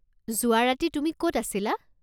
যোৱা ৰাতি তুমি ক'ত আছিলা?